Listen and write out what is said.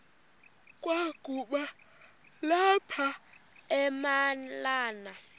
kwakaba lapha nemalana